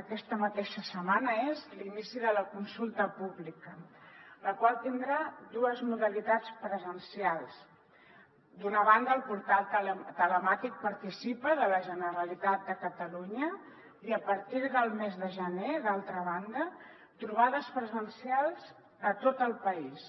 aquesta mateixa setmana és l’inici de la consulta pública la qual tindrà dues modalitats presencials d’una banda el portal telemàtic participa de la generalitat de catalunya i a partir del mes de gener d’altra banda trobades presencials a tot el país